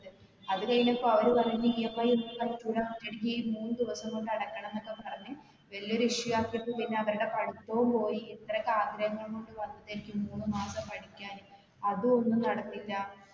അത് കഴിഞ്ഞപ്പോ അവര് പറഞ്ഞു EMI ഒന്നും പറ്റൂല ഇനി ഈ മൂന്നു ദിവസം കൊണ്ട് അടക്കണം ന്നൊക്കെ പറഞ്ഞ് വലിയൊരു issue ആകിറ്റ് പിന്നെ അവരുടെ പഠിത്തവും പോയി ഇത്ര ഒക്കെ ആഗ്രങ്ങളും കൊണ്ട് വന്നതായിരിക്കും മൂന്നുമാസം പഠിക്കാന് അതു ഒന്നും നടന്നില്ല